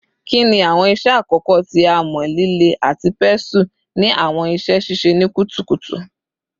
Kini awọn iṣẹ akọkọ ti amọ-lile ati pestle ni awọn iṣe sise ni kutukutu?